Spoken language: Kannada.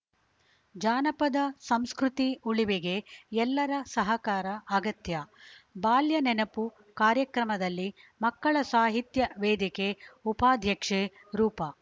ಜಾನಪದ ಸಂಸ್ಕೃತಿ ಉಳಿವಿಗೆ ಎಲ್ಲರ ಸಹಕಾರ ಅಗತ್ಯ ಬಾಲ್ಯ ನೆನಪುಕಾರ್ಯಕ್ರಮದಲ್ಲಿ ಮಕ್ಕಳ ಸಾಹಿತ್ಯ ವೇದಿಕೆ ಉಪಾಧ್ಯಕ್ಷೆ ರೂಪ